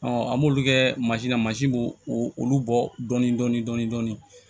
an b'olu kɛ na mansin b'o olu bɔ dɔɔnin dɔɔnin